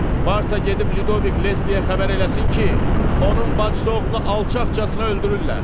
Varsa gedib Lidovik Lesliyə xəbər eləsin ki, onun bacısı oğlunu alçaqcasına öldürürlər.